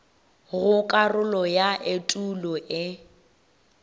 go karolo ya etulo e